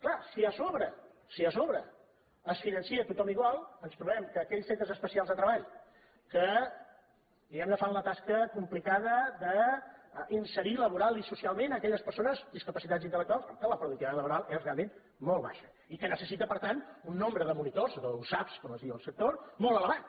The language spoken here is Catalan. clar si a sobre si a so·bre es finança a tothom igual ens trobem que aquells centres especials de treball que diguem·ne fan la tasca complicada d’inserir laboralment i socialment aquelles persones discapacitades intel·lectuals que la productivitat laboral és realment molt baixa i que ne·cessiten per tant un nombre de monitors d’usap com es diu al sector molt elevat